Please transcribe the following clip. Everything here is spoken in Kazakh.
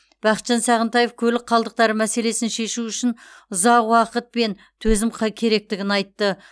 бақытжан сағынтаев көлік қалдықтары мәселесін шешу үшін ұзақ уақыт пен төзім қай керектігін айтты